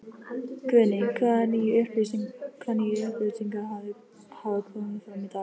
Guðný: Hvaða nýju upplýsingar hafa komið fram í dag?